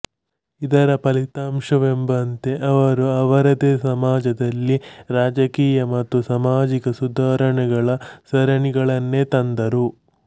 ಇದರ ಫಲಿತಾಂಶವೆಂಬಂತೆ ಅವರು ಅವರದೇ ಸಮಾಜದಲ್ಲಿ ರಾಜಕೀಯ ಮತ್ತು ಸಾಮಾಜಿಕ ಸುಧಾರಣೆಗಳ ಸರಣಿಗಳನ್ನೇ ತಂದರು